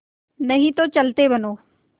नहीं तो चलते बनो